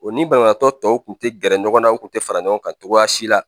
O ni banabaatɔ tɔw kun te gɛrɛ ɲɔgɔn na u kun te fara ɲɔgɔn kan cogoya si la